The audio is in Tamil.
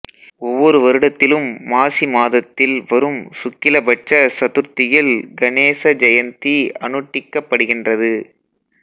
ஒவ்வொரு வருடத்திலும் மாசி மாதத்தில் வரும் சுக்கில பட்ச சத்துர்த்தியில் கணேச ஜெயந்தி அனுட்டிக்கப்படுகின்றது